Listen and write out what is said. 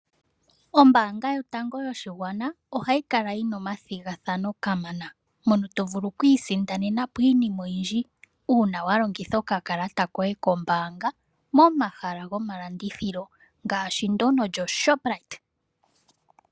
Ombaanga yotango yopashigwana ohayi kala yina omathigathano kamana to vulu okwiisindana iinima oyindji momahala gomalandithilo ngaashi ndyono lyoShopright